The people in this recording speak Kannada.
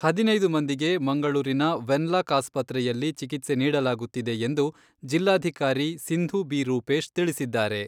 ಹದಿನೈದು ಮಂದಿಗೆ ಮಂಗಳೂರಿನ ವೆನ್ಲಾಕ್ ಆಸ್ಪತ್ರೆಯಲ್ಲಿ ಚಿಕಿತ್ಸೆ ನೀಡಲಾಗುತ್ತಿದೆ ಎಂದು ಜಿಲ್ಲಾಧಿಕಾರಿ ಸಿಂಧೂ ಬಿ ರೂಪೇಶ್ ತಿಳಿಸಿದ್ದಾರೆ.